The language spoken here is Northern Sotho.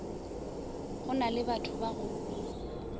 go na lebatho ba go